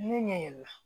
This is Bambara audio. Ne ɲɛ yɛlɛla